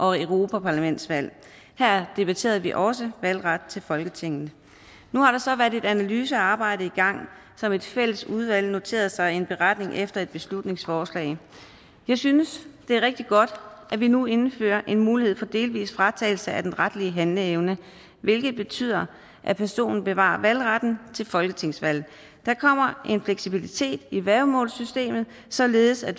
og europaparlamentsvalg her debatterede vi også valgret til folketinget nu har der så været et analysearbejde i gang som et fælles udvalg noterede sig i en beretning efter et beslutningsforslag jeg synes det er rigtig godt at vi nu indfører en mulighed for en delvis fratagelse af den retlige handleevne hvilket betyder at personen bevarer valgretten til folketingsvalg der kommer en fleksibilitet i værgemålssystemet således at